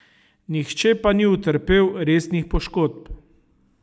Nihče pa ni utrpel resnih poškodb.